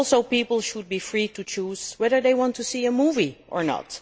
People should also be free to choose whether they want to see a movie or not.